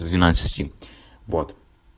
с двенадцать вот